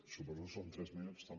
suposo que són tres minuts també